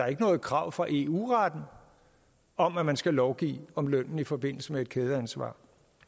er noget krav fra eu retten om at man skal lovgive om lønnen i forbindelse med et kædeansvar